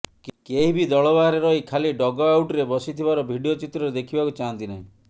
କେହି ବି ଦଳ ବାହାରେ ରହି ଖାଲି ଡଗଆଉଟରେ ବସିଥିବାର ଭିଡିଓ ଚିତ୍ରରେ ଦେଖିବାକୁ ଚାହାନ୍ତି ନାହିଁ